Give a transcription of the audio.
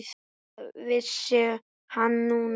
Það vissi hann núna.